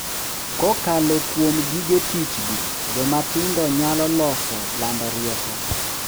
Kokalo kuom gige tich gi, joma tindo nyalo loso, lando rieko,